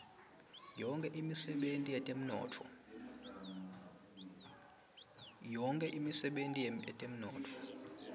yonkhe imisebenti yetemnotfo